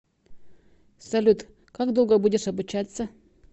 салют как долго будешь обучаться